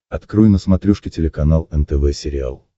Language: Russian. открой на смотрешке телеканал нтв сериал